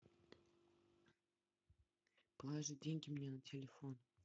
положи деньги мне на телефон